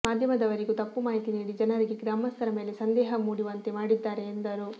ಮಾಧ್ಯಮದವರಿಗೂ ತಪ್ಪು ಮಾಹಿತಿ ನೀಡಿ ಜನರಿಗೆ ಗ್ರಾಮಸ್ಥರ ಮೇಲೆ ಸಂದೇಹ ಮೂಡಿವಂತೆ ಮಾಡಿದ್ದಾರೆ ಎಂದರು